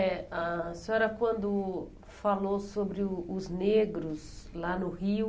eh A senhora, quando falou sobre o os negros lá no Rio...